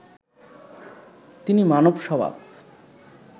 তিনি মানব স্বভাব